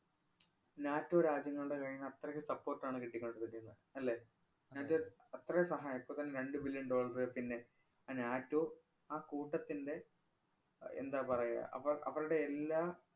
NATO രാജ്യങ്ങളുടെ കൈയീന്ന് അത്രയ്ക്ക് support ആണ് കിട്ടി കൊണ്ടിരിക്കുന്നത് അല്ലേ. എന്നിട്ട് അത്രയും സഹായം ഇപ്പത്തന്നെ രണ്ടു billion dollar പിന്നെ ആ നാറ്റോ ആ കൂട്ടത്തിന്‍റെ അഹ് എന്താ പറയുക അപ്പ അവരുടെ എല്ലാം